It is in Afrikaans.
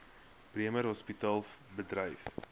bremer hospitaal bedryf